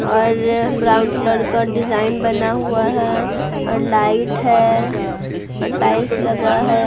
और brown colour का design बना हुआ है और लाइट है और टाइस लगा है।